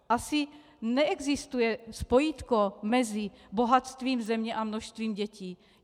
Asi neexistuje spojítko mezi bohatstvím země a množstvím dětí.